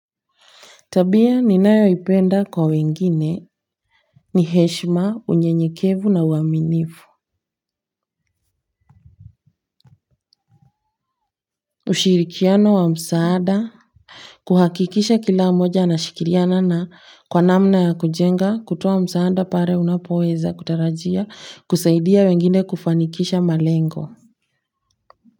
Tabia ninayo ipenda kwa wengine ni heshima unyenyekevu na uaminifu. Ushirikiano wa msaada. Kuhakikisha kila moja anashikiliana na kwa namna ya kujenga kutoa msaada pale unapoweza kutarajia kusaidia wengine kufanikisha malengo.